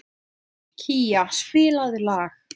Kía, spilaðu lag.